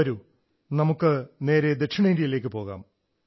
വരൂ നമുക്ക് നേരെ സൌത്തിലേക്കു പോകാം